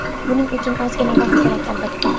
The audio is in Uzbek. Buning uchun ozgina vaqt kerak, albatta.